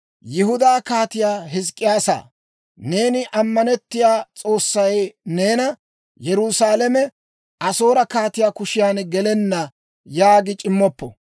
«Yihudaa Kaatiyaa Hizk'k'iyaasaa, neeni ammanettiyaa S'oossay neena, ‹Yerusaalame Asoore kaatiyaa kushiyan gelenna› yaagi c'immoppo.